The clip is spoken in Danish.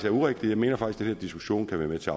er urigtigt jeg mener faktisk at diskussion kan være med til